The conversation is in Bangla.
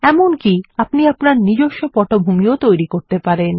এমনকি আপনি আপনার নিজস্ব পটভূমি তৈরি করতে পারেন